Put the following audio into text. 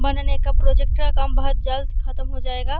बनने का प्रोजेक्ट का काम बहोत जल्द ख़त्म हो जायेगा।